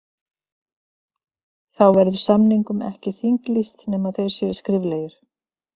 Þá verður samningum ekki þinglýst nema þeir séu skriflegir.